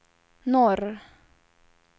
norr